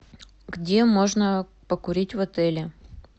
где можно покурить в отеле